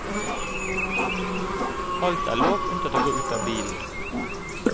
Alt er lov unntatt å gå ut av bilen.